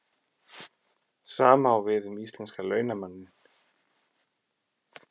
Sama á við um íslenska launamanninn.